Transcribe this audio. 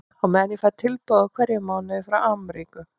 Og á meðan fæ ég tilboð í hverjum mánuði frá Amríku.